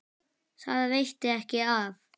Það veitti ekki af.